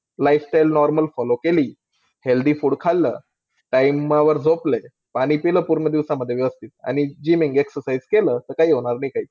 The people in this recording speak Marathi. Lifestyle normal follow केली. Healthy food खाल्लं. Time वर झोपलो. पाणी पिलं पूर्ण दिवसामध्ये व्यवस्थित आणि GYMINGexercise केलं. तर कायबी होणार नाही, काही.